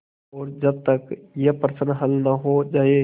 और जब तक यह प्रश्न हल न हो जाय